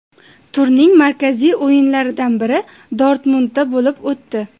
Turning markaziy o‘yinlaridan biri Dortmundda bo‘lib o‘tdi.